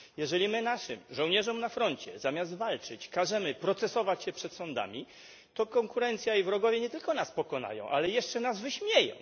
Jeżeli my naszym żołnierzom na froncie zamiast walczyć każemy procesować się przed sądami, to konkurencja i wrogowie nie tylko nas pokonają, ale jeszcze nas wyśmieją.